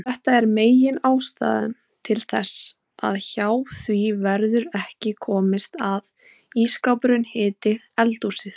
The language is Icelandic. Þetta er meginástæðan til þess að hjá því verður ekki komist að ísskápurinn hiti eldhúsið.